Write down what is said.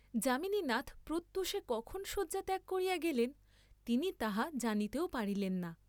যামিনীনাথ প্রত্যূষে কখন শয্যা ত্যাগ করিয়া গেলেন তিনি তাহা জানিতেও পারিলেন না।